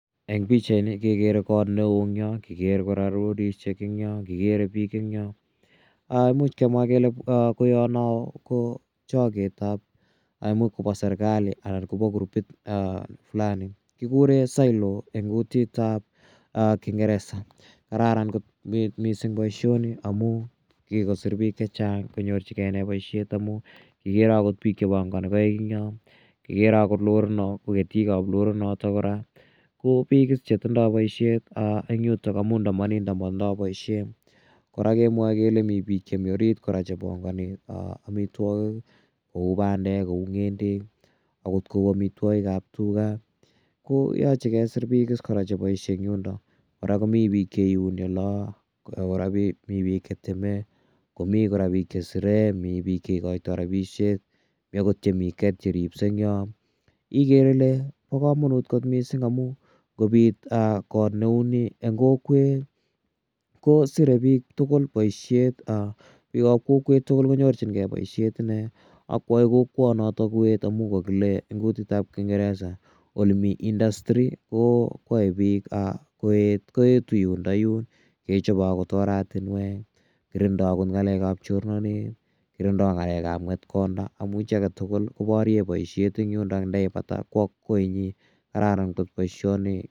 Eng' pichaini kekere kot ne oo eng' yo. Kikere kora lorishek eng' yo, kikere pik eng' yo. Imuch kemwa kele koya no ko choketap, ne imuch kopa serkali anan ko pa gurupit flani. Kikure silo eng' kutit ap kingeresesa. Kararan kot missing' poishoni amu kikosir pik che chang' kpnyorchigei poishonik amu kikere akot pik che pangani koik eng' yo. Kikere akot lorit ko ketit ap lorit notok ko pik is che tindai poishet eng' yutok amu nda ma nit ta matindai poishet. Kora kemwae kele minpik chemi orit kora che pangani amitwogik kou pandek, kou ng'endek, akot kou amitwogik ap tuga so koyache kesir pik is kora che paishe eng' yundok. Kora komi pik cheiuni ola, kora komi pik che teme, komi pik che che sire, mi pik che ikaitai rapishek. Mi akot chemi gate che ripsei eng' yo ikere ile pa kamanut kot missing' amu ngopit kot neu ni eng' kokwet ko sire pik tugul poishet, pik ap kokwet konyorchingei poishet ine. Ak koyae kokwanotok koet amu kakile eng' kutit ap kingeresa ole mi industry koae pik koet, koetu yundayun , kechope akot oratinwek, kirindai akot ng'alek ap chornatet, kirindai ng'alek ap ng'etkonda amu chi age tugul koparye poishet eng' yundok ang' ye ipata kowa koinyi. Kararan kot poishoni.